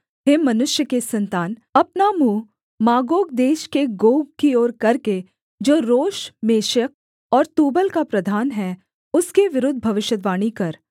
हे मनुष्य के सन्तान अपना मुँह मागोग देश के गोग की ओर करके जो रोश मेशेक और तूबल का प्रधान है उसके विरुद्ध भविष्यद्वाणी कर